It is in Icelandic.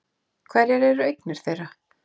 Hverjar eru eignir þeirra?